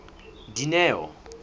dineo